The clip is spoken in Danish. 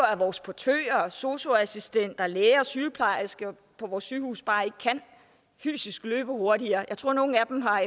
at vores portører og sosu assistenter læger og sygeplejersker på vores sygehuse bare ikke fysisk kan løbe hurtigere jeg tror nogle af dem har